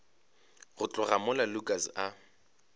go tloga mola lukas a